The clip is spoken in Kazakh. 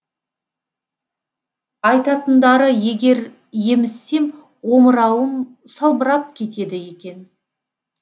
айтатындары егер емізсем омырауым салбырап кетеді екен